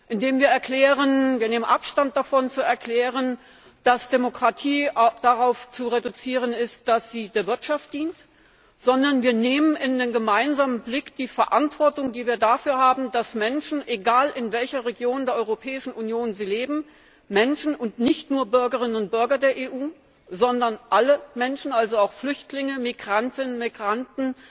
indem wir erklären, wir nehmen Abstand davon zu erklären, dass Demokratie darauf zu reduzieren ist, dass sie der Wirtschaft dient, sondern wir nehmen in den gemeinsamen Blick unsere Verantwortung dafür, dass Menschen, egal in welcher Region der Europäischen Union sie leben, Menschen und nicht nur Bürgerinnen und Bürger der EU, sondern alle Menschen, also auch Flüchtlinge, Migrantinnen, Migranten,